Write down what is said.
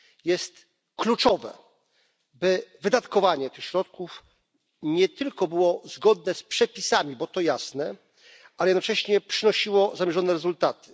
Jest kluczowe, by wydatkowanie tych środków nie tylko było zgodne z przepisami, bo to jasne, ale jednocześnie przynosiło zamierzone rezultaty.